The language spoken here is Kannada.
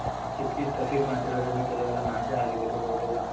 ಚಿಕ್ ಚಿಕ್ ಸಸಿಗಳು ನಟ್ಟಿರೋದೆಲ್ಲ ಕೆಲವೆಲ್ಲ ನಾಶ ಆಗಿದೆ ಕೆಲವರದೆಲ್ಲಾ.